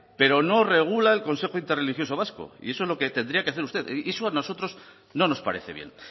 pero no regula en consejero interreligioso vasco y eso es lo que tendría que hacer usted eso a nosotros no nos parece bien